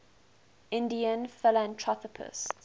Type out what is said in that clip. indian philanthropists